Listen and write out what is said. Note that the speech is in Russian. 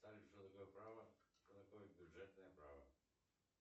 салют что такое право что такое бюджетное право